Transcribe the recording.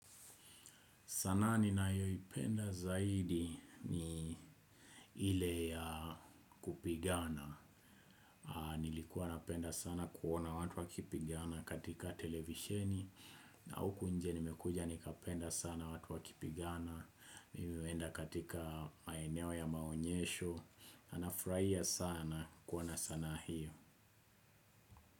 Sanaa ninayoipenda zaidi ni ile ya kupigana. Nilikuwa napenda sana kuona watu wakipigana katika televisheni. Na huku nje nimekuja nikapenda sana watu wakipigana. Nimeenda katika maeneo ya maonyesho. Nafurahia sana kuona sanaa hiyo.